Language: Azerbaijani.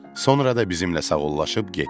Sonra da bizimlə sağollaşıb getdi.